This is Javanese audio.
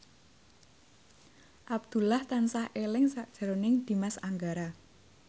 Abdullah tansah eling sakjroning Dimas Anggara